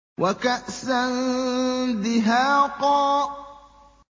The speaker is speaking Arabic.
وَكَأْسًا دِهَاقًا